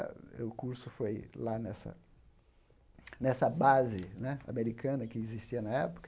O curso foi lá nessa nessa base né americana que existia na época.